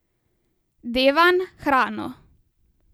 Devan, hrano.